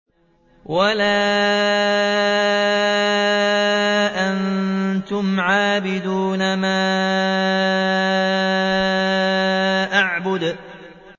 وَلَا أَنتُمْ عَابِدُونَ مَا أَعْبُدُ